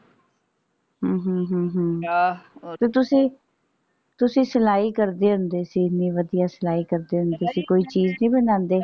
ਅਹ ਹਮ ਹਮ ਤੇ ਤੁਸੀਂ ਤੁਸੀਂ ਸਲਾਈ ਕਰਦੇ ਹੁੰਦੇ ਸੀ ਵਧੀਆ ਸਲਾਈ ਕਰਦੇ ਹੁੰਦੇ ਸੀ ਕੋਈ ਚੀਜ਼ ਨਹੀਂ ਬਣਾਉਂਦੇ।